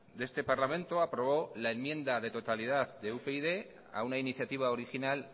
de este parlamento aprobó la enmienda de totalidad de upyd a una iniciativa original